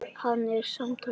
Hann er samtals á pari.